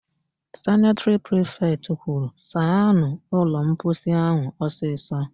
Sanịtịrị prifetị kwuru, "saanụ ụlọmposi áhụ̀ ọsịsọ"!